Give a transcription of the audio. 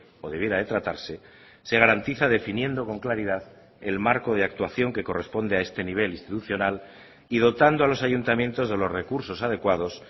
o debiera de tratarse se garantiza definiendo con claridad el marco de actuación que corresponde a este nivel institucional y dotando a los ayuntamientos de los recursos adecuados